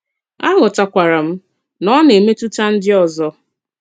Àghòtàkwàrà m nà ọ na-èmetùtà ndí òzò.